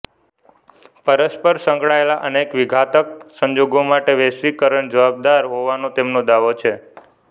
પરસ્પર સંકળાયેલા અનેક વિઘાતક સંજોગો માટે વૈશ્વિકરણ જવાબદાર હોવાનો તેમનો દાવો છે